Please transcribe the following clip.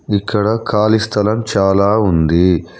ఇక్కడ ఖాళీ స్థలం చాలా ఉంది.